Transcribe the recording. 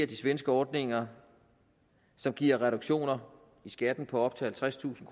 de svenske ordninger som giver reduktioner i skatten på op til halvtredstusind